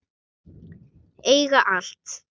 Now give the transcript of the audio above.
Eiga allt.